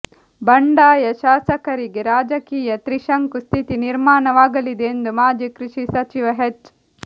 ಬಂಡಾಯ ಶಾಸಕರಿಗೆ ರಾಜಕೀಯ ತ್ರಿಶಂಕು ಸ್ಥಿತಿ ನಿರ್ಮಾಣವಾಗಲಿದೆ ಎಂದು ಮಾಜಿ ಕೃಷಿ ಸಚಿವ ಹೆಚ್